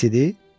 Pis idi?